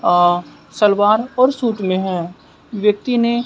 अह सलवार और सूट में है व्यक्ति ने--